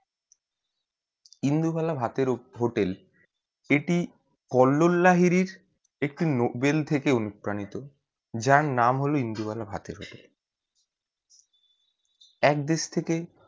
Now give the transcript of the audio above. ইন্দুবালা ভাতের hotel এটি কল্লোল লাহিড়ির একটি novel থেকে অণুপ্রণীত যার নাম হলো ইন্দুবালা ভাতের hotel এক দেশ থেকে